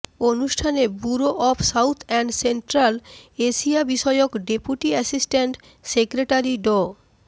অনুষ্ঠানে bureau of south and central Asia বিষয়ক deputy assistant secretary ড